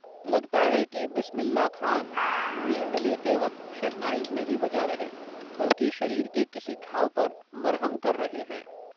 लगता है कि, बिस्मिल्ला खान, मींड़ लेते वक्त, शहनाई नहीं बजा रहे, बल्कि शरीर के किसी घाव पर, मरहम कर रहे हैं